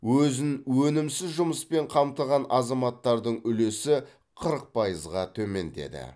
өзін өнімсіз жұмыспен қамтыған азаматтардың үлесі қырық пайызға төмендеді